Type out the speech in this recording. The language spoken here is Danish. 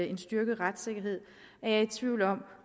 en styrket retssikkerhed er jeg i tvivl om